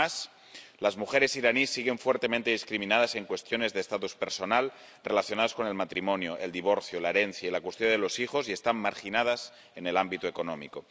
Además, las mujeres iraníes siguen fuertemente discriminadas en cuestiones de estatus personal relacionadas con el matrimonio, el divorcio, la herencia y la cuestión de los hijos, y están marginadas en el ámbito económico.